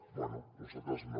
bé nosaltres no